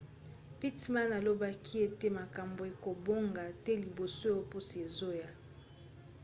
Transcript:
pittman alobaki ete makambo ekobonga te liboso ya poso ezoya